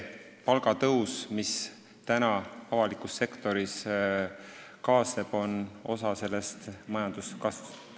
Palgatõus, mis avalikus sektoris toimub, on osa sellest majanduskasvust.